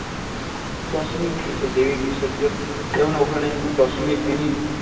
দশমীর দিন দেবীর বিসর্জন যেমন ওখানে দশমীর দিনই